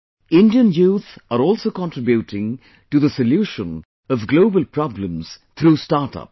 Indian youth are also contributing to the solution of global problems through startups